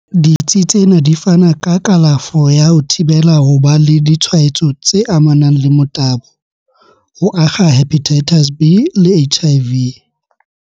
"Ditsi tsena di fana ka kalafo ya ho thibela ho ba le ditshwa etso tse amanang le motabo, ho akga Hepatitis B le HIV."